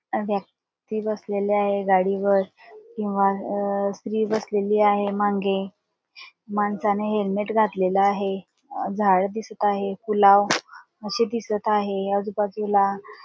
स्त्री बसलीये गाडीवर किंव्हा स्त्री बसलेली आहे माघे माणसाने हेलमेट घातलेल आहे झाड दिसत आहे पुलाव असे दिसत आहे आजूबाजूला.